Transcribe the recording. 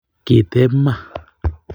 Kiteb Ma